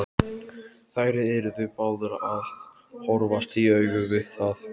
Þær yrðu báðar að horfast í augu við það.